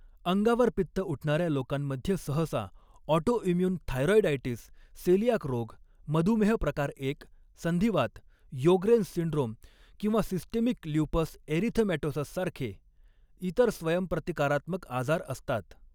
अंगावर पित्त उठणाऱ्या लोकांमध्ये सहसा ऑटोइम्यून थायरॉइडायटिस, सेलिआक रोग, मधुमेह प्रकार एक, संधिवात, योग्रेन्स सिंड्रोम किंवा सिस्टेमिक ल्युपस एरिथेमॅटोसससारखे इतर स्वयंप्रतिकारात्मक आजार असतात.